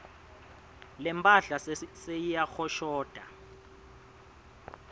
lemphahla seyiyahoshota